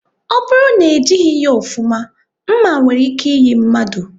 Ọ bụrụ na e jighị ya ofuma, nma nwere ike iyi mmadụ